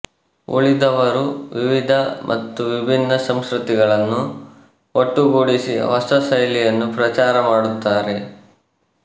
ಉಳಿದವರು ವಿವಿಧ ಮತ್ತು ವಿಭಿನ್ನ ಸಂಸ್ಕೃತಿಗಳನ್ನು ಒಟ್ಟುಗೂಡಿಸಿ ಹೊಸ ಶೈಲಿಯನ್ನು ಪ್ರಚಾರ ಮಾಡುತ್ತಾರೆ